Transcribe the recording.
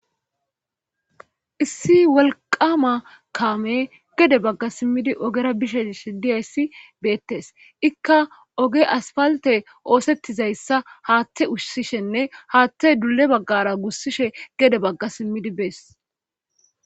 Issi wolqama kaame gede bagga simmidi ogera bishe sh diyayssi beettes ikka oge aspalte oosettizayssa haatte ushsishenne haatte dule baggara gussishe gede bagga simmidi bees.